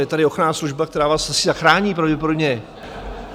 Je tady ochranná služba, která vás asi zachrání pravděpodobně.